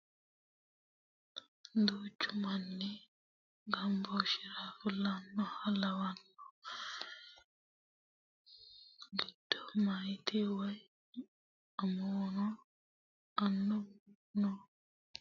Duuchu manni hasaawu heerenna hasaawu ganbooshshira fulinoha lawanno giddo meyaati woyi amuwuno annuwuno nooha ikkanna konni manni giddonni mittu manchi hasaawanni no